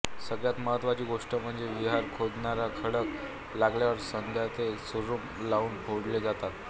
सगळ्यात महत्त्वाची गोष्ट म्हणजे विहीर खोदताना खडक लागल्यावर सध्या ते सुरुंग लावून फोडले जातात